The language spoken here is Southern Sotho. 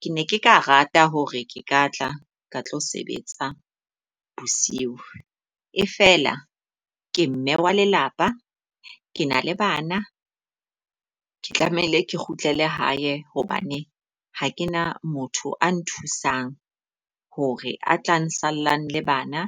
Ke ne ke ka rata hore ke ka tla ka tlo sebetsa bosiu. E feela ke mme wa lelapa, ke na le bana, ke tlamehile ke kgutlela hae hobane ha ke na motho a nthusang hore a tlang nsallang le bana